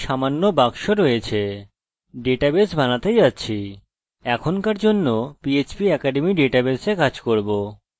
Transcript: আমি এখনকার জন্য আমার php academy ডেটাবেসে কাজ করব